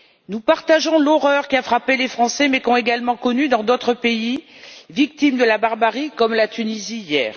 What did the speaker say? Nous partageons l'horreur qui a frappé les Français, mais qu'ont également connue d'autres pays, victimes de la barbarie, comme la Tunisie hier.